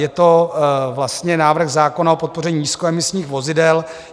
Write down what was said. Je to vlastně návrh zákona o podpoře nízkoemisních vozidel.